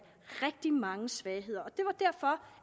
rigtig mange svagheder det var derfor